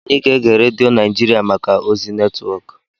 Anyị ga-ege redio Naijiria maka ozi netwọk.